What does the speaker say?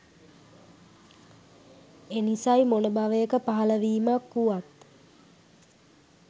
එනිසයි මොන භවයක පහළවීමක් වුවත්